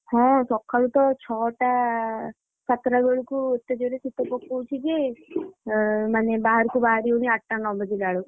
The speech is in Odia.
ହଁ ସକାଳୁ ତ ଛଅଟା ସାତଟା ବେଳକୁ ଏତେ ଜୋରେ ଶୀତ ପକଉଛି ଯେ ଅ ମାନେ ବାହାରକୁ ବାହାରି ହଉନି ଆଠଟା ନ ବାଜିଲା ବେଳକୁ।